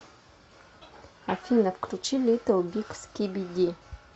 афина включи литтл биг скиби ди